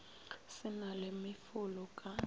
se na le mefolo ka